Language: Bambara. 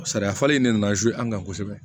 Sariya falen de nana an kan kosɛbɛ